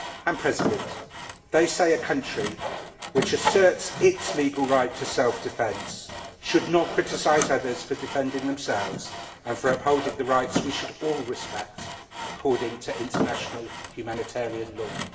Mr President, they say that a country which asserts its legal right to self defence should not criticise others for defending themselves and for upholding the rights we should all respect according to international humanitarian law.